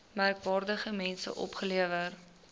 merkwaardige mense opgelewer